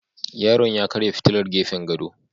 Yaron ya karya fitilar gefen gado